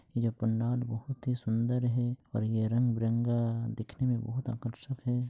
ये पंडाल बहुत ही सुन्दर और ये रंगबिरंगा दिखने मे बहुत आकर्षक है।